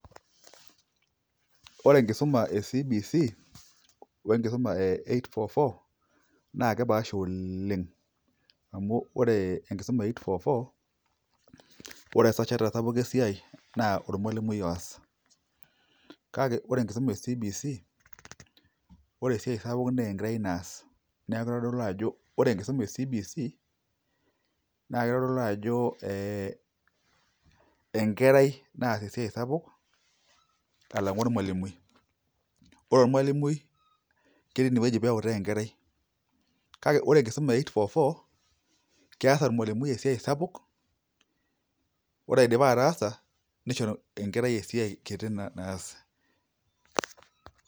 Ore enkisuma e CBC o enkisuma e 8.4.4 naa kepaasha oleng' amu ore enkisuma e 8.4.4 ore esajata sapuk esiai naa ormalimui oos kake ore enkisuma e CBC ore esiai sapuk naa enkerai naas neeku itodolu ajo ore enkisuma e CBC naa kitodolu ajo ee enkerai naas esiai sapuk alang'u ormalimui, ore ormalmui ketii inewueji pee eutaa enkerai kake ore enkisuma e 8.4.4 kees ormalimui esiai sapuk ore idipa ataasa nisho enkerai esiai kiti naas.